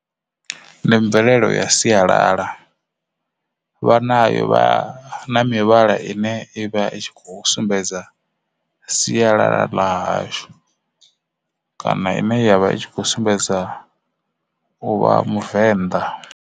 Ndi mvelelo ya sialala vha nayo vha na mivhala ine ivha i kho sumbedza sialala ḽa hashu kana ine yavha i kho sumbedza uvha Muvenda.